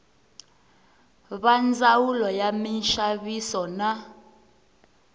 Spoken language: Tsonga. va ndzawulo ya minxaviso na